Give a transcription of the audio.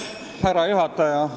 Härra juhataja!